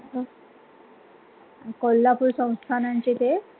कोल्हापूर संस्थानांचे ते